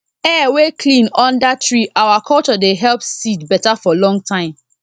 air wey clean under tree our culture dey help seed better for long time